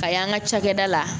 Ka y'an ka cakɛda la